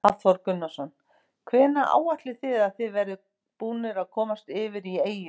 Hafþór Gunnarsson: Hvenær áætlið þið að þið verðið búnir að komast yfir í eyju?